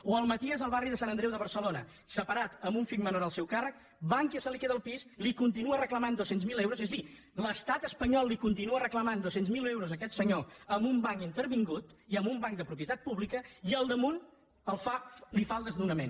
o al maties al barri de sant andreu de barcelona separat amb un fill menor al seu càrrec bankia se li queda el pis li continua reclamant dos cents miler euros és a dir l’estat espanyol li continua reclamant dos cents miler euros a aquest senyor amb un banc intervingut i amb un banc de propietat pública i al damunt li fa el desnonament